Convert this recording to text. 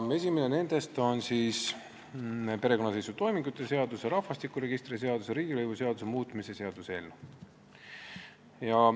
Esimene nendest on perekonnaseisutoimingute seaduse, rahvastikuregistri seaduse ja riigilõivuseaduse muutmise seaduse eelnõu.